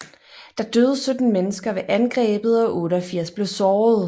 Der døde 17 mennesker ved angrebet og 88 blev såret